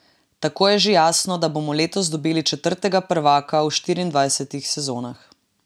Tako je že jasno, da bomo letos dobili četrtega prvaka v štiriindvajsetih sezonah.